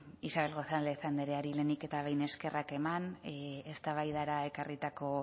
isabel gonzáli lehenik eta behin eskerrak eman eztabaidara ekarritako